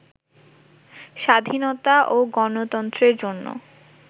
স্বাধীনতা ও গণতন্ত্রের জন্য